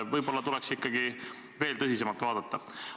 Võib-olla tuleks ikkagi veel tõsisemalt vaadata.